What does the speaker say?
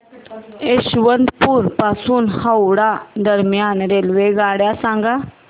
यशवंतपुर पासून हावडा दरम्यान रेल्वेगाड्या सांगा